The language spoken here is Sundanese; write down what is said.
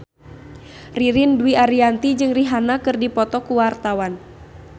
Ririn Dwi Ariyanti jeung Rihanna keur dipoto ku wartawan